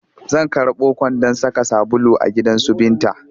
Zan karɓo kwandon saka sabulu a gidansu Binta